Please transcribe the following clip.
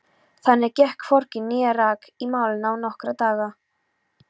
Þannig gekk hvorki né rak í málinu í nokkra daga.